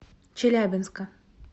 челябинска